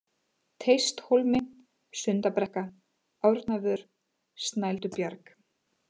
Teisthólmi, Sundabrekka, Árnavör, Snældubjarg